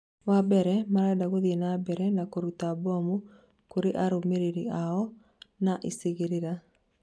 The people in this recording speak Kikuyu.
wambere marenda gũthiĩ na mbere na kũruta mbomu kũrĩ arũmĩrĩri ao na icigĩrĩra